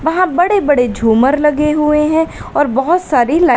वहां बड़े बड़े झूमर लगे हुए हैं और बहुत सारी लाइ--